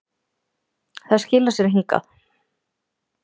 Það skilar sér hingað.